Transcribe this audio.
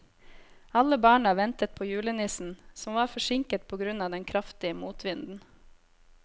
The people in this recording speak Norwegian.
Alle barna ventet på julenissen, som var forsinket på grunn av den kraftige motvinden.